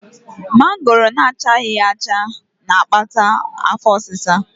Mangoro na-achabeghị na-akpata afọ ọsịsa.